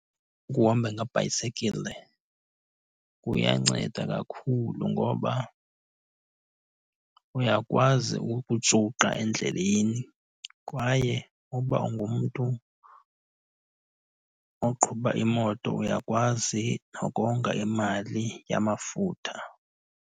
Ukuhamba ngebhayisekile kuyanceda kakhulu ngoba uyakwazi ukujuqa endleleni kwaye uba ungumntu oqhuba imoto uyakwazi nokonga imali yamafutha.